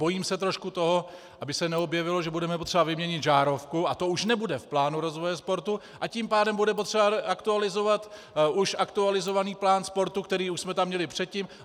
Bojím se trošku toho, aby se neobjevilo, že budeme potřeba vyměnit žárovku a to už nebude v plánu rozvoje sportu, a tím pádem bude potřeba aktualizovat už aktualizovaný plán sportu, který už jsme tam měli předtím.